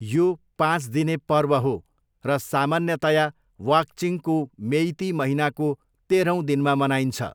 यो पाँच दिने पर्व हो र सामान्यतया वाक्चिङको मेइती महिनाको तेह्रौँ दिनमा मनाइन्छ।